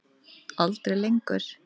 Aldrei lengur.